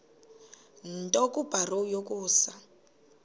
nto kubarrow yokusa